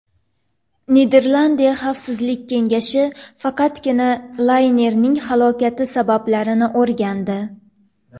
Niderlandiya xavfsizlik kengashi faqatgina laynerning halokati sabablarini o‘rgandi.